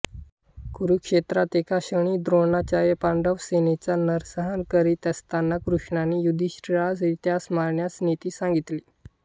कुरुक्षेत्रात एका क्षणी द्रोणाचार्य पांडवसेनेचा नरसंहार करीत असताना कृष्णानी युधिष्ठिरास त्यास मारण्याची नीति सांगितली